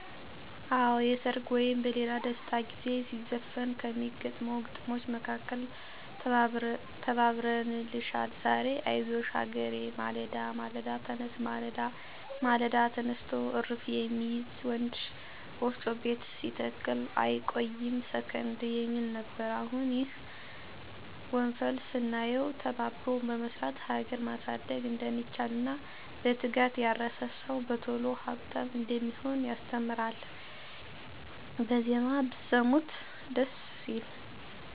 አወ የሰርግ ወይም በሌላ ደስታ ጊዜ ሲዘፈን ከሚገጠሙ ግጥሞች መካከል “ተባብረንልሻል ዛሬ አይዞሽ ሀገሬ፤ ማለዳ ማለዳ ተነስ ማለዳ፣ ማለዳ ተነስቶ እርፍ የሚይዝ ወንድ፣ ወፍጮ ቤት ሲተክል አይቆይም ሰከንድ “ የሚል ነበር። አሁን ይህ ወፈን ስናየው ተባብሮ በመስራት ሀገር መሳድግ እንደሚቻል እና በትጋት ያረሰ ሰው በቶሎ ሀብታም እንደሚሆን ያስተምራል። በዜማ ብሰሙት ደስ ሲል!